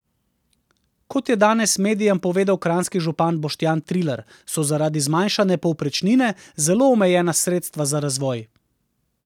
Kot je danes medijem povedal kranjski župan Boštjan Trilar, so zaradi zmanjšane povprečnine zelo omejena sredstva za razvoj.